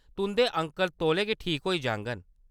तुंʼदे अंकल तौले गै ठीक होई जाङन।